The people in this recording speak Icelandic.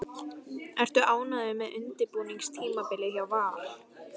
Ertu ánægður með undirbúningstímabilið hjá Val?